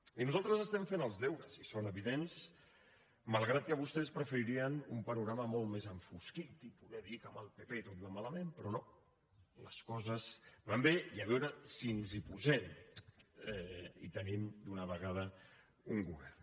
i nosaltres estem fent els deures i són evidents malgrat que vostès preferirien un panorama molt més enfosquit i poder dir que amb el pp tot va malament però no les coses van bé i a veure si ens hi posem i tenim d’una vegada un govern